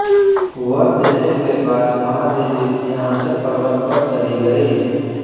वर देने के बाद महादेवी विंध्याचलपर्वत पर चली गई